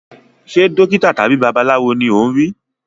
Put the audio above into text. Ṣe dókítà tàbí babaláwo ni o n ri?